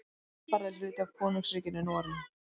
Svalbarði er hluti af Konungsríkinu Noregi.